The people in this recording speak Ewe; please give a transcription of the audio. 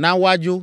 Na woadzo!